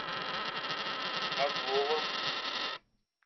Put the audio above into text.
азовом